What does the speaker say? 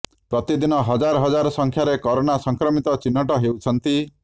ପ୍ରତିଦିନ ହଜାର ହଜାର ସଂଖ୍ୟାରେ କୋରୋନା ସଂକ୍ରମିତ ଚିହ୍ନଟ ହେଉଛନ୍ତି